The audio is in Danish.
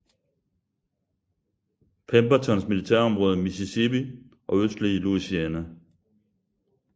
Pembertons militærområde Mississippi og østlige Louisiana